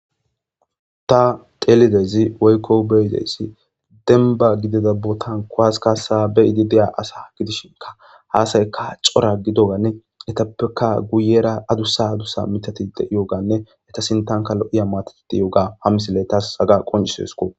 ta telidezi woykko beyideyssi denba gidida botankowasikasa beyiidi dea asa gidishinka haasayka cora gidoganne etappeka guyera adussa adussa mitatide iyooganne eta sintanka lo7iya maatatidi yooga ha misilley tas aga qoncisesko